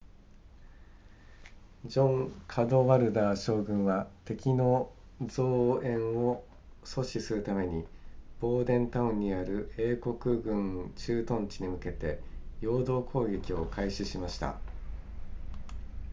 ジョンカドワルダー将軍は敵の増援を阻止するためにボーデンタウンにある英国軍駐屯地に向けて陽動攻撃を開始しました